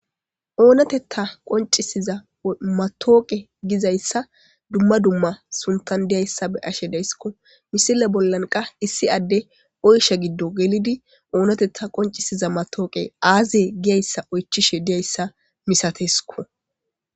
Oonatetha qonccisiya mattawoqe gizayssa dumma dumma sunttan deyiyassa be7ashe dayssi. Misile bola qasse issi addey oyshsha giddo gelidi oonatetha qonccisiya matawokeyi aaze giyaysa oychishe de7iyayssa masatees.